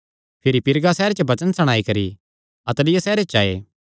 भिरी पीरगा सैहरे च वचन सणाई करी अत्तलिया सैहरे च आये